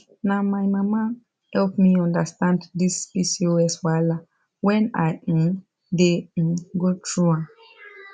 na my mama help me understand this pcos wahala when i um dey um go through am